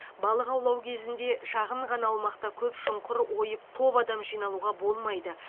балық аулау кезінде шағын ғана аумақта көп шұңқыр ойып топ адам жиналуға болмайды